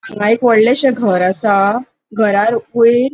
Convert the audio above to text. हिंगा एक वोडलेशे घर असा घरा वयर --